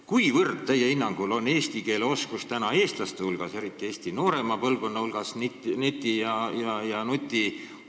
Kui hea on teie hinnangul neti- ja nutiajastul eesti keele oskus eestlaste hulgas, eriti Eesti noorema põlvkonna hulgas?